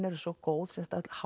eru svo góð sem sagt öll